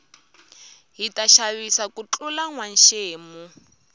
hita xavisa ku tlula nwa xemu